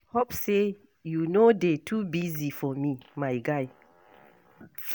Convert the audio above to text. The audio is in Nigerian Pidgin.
Hope say you no dey too busy for me, my guy.